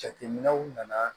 Jateminɛw nana